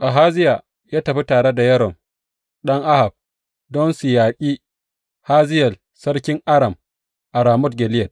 Ahaziya ya tafi tare da Yoram ɗan Ahab don su yaƙi Hazayel sarkin Aram a Ramot Gileyad.